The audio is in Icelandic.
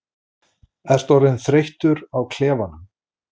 Ertu orðinn þreyttur á klefanum?